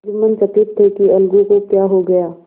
जुम्मन चकित थे कि अलगू को क्या हो गया